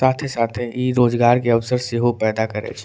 साथे-साथे इ रोजगार के अवसर सेहो पैदा करे छै।